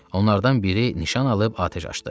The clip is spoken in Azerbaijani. Onlardan biri nişan alıb atəş açdı.